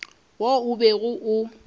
wo o bego o o